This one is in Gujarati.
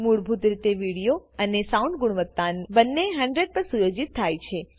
મૂળભૂત રીતે વિડિઓ અને સાઉન્ડ ગુણવત્તા બંને 100 પર સુયોજિત થાય છે